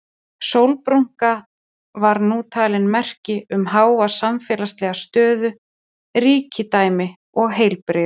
Sólbrúnka var nú talin merki um háa samfélagslega stöðu, ríkidæmi og heilbrigði.